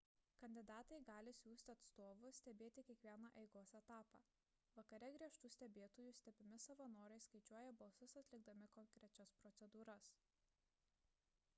kandidatai gali siųsti atstovus stebėti kiekvieną eigos etapą vakare griežtų stebėtojų stebimi savanoriai skaičiuoja balsus atlikdami konkrečias procedūras